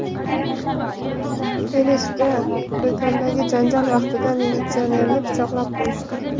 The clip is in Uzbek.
Kelesda do‘kondagi janjal vaqtida militsionerni pichoqlab qo‘yishdi.